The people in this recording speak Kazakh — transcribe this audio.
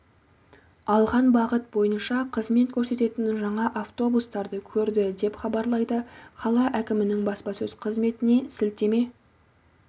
алған бағыт бойынша қызмет көрсететін жаңа автобустарды көрді деп хабарлайды қала әкімінің баспасөз қызметіне сілтеме